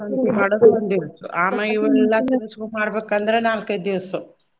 ಆಮ್ಯಾಲ ಇವ್ನೆಲ್ಲಾ ತರಸ್ಕೊಂಡ್ ಮಾಡ್ಬೇಕ್ ಅಂದ್ರ ನಾಲ್ಕೈದ್ ದಿವ್ಸು.